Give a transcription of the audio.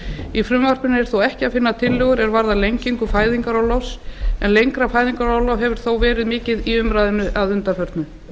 í frumvarpinu er þó ekki að finna tillögur er varða lengingu fæðingarorlofs en lengra fæðingarorlof hefur þó verið mikið í umræðunni að undanförnu